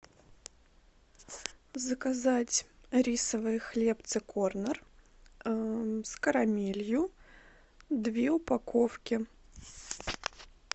заказать рисовые хлебцы корнер с карамелью две упаковки